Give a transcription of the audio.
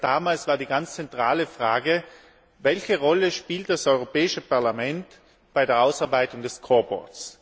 Und bereits damals war die ganz zentrale Frage Welche Rolle spielt das Europäische Parlament bei der Ausarbeitung des Scoreboards?